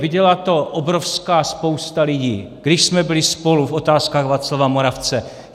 Viděla to obrovská spousta lidí, když jsme byli spolu v Otázkách Václava Moravce.